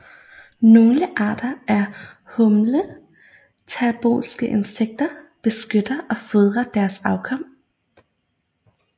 Nogle arter af holometabolske insekter beskytter og fodrer deres afkom